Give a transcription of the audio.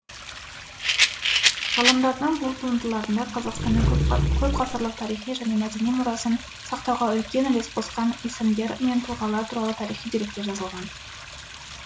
ғалымдардың бұл туындыларында қазақстанның көпғасырлық тарихи және мәдени мұрасын сақтауға үлкен үлес қосқан есімдер мен тұлғалар туралы тарихи деректер жазылған